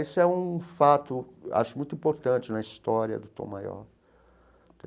Isso é um fato, acho muito importante na história do Tom Maior.